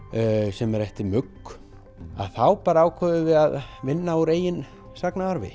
sem er eftir Mugg þá bara ákváðum við að vinna úr eigin sagnaarfi